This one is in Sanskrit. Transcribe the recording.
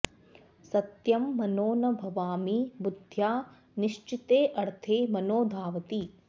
सत्यं मनो न भवामि बुद्ध्या निश्चितेऽर्थे मनो धावति